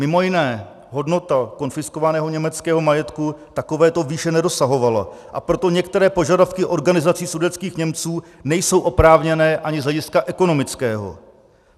Mimo jiné hodnota konfiskovaného německého majetku takovéto výše nedosahovala, a proto některé požadavky organizací sudetských Němců nejsou oprávněné ani z hlediska ekonomického.